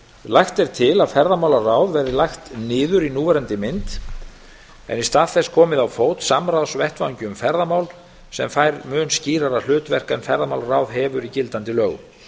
lagt er til að ferðamálaráð verði lagt niður í núverandi mynd en í stað þess komið á fót samstarfsvettvangi um ferðamál sem fær mun skýrara hlutverk en ferðamálaráð hefur í gildandi lögum